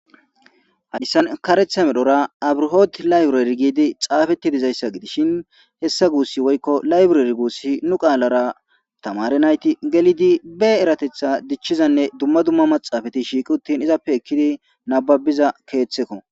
Hayssan karetha medhora abruhot layburer gidi xaafetti dizayssa gidishin hessa guussi woykko layburer guussi nu qaalara tamare nayti gelidi be eratetha dichchizanne dumma dumma maxaafati shiiqi uttin izappe ekkidi nababiza keeththekko